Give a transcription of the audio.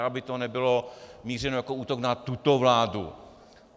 Aby to nebylo mířeno jako útok na tuto vládu.